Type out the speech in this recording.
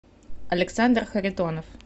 александр харитонов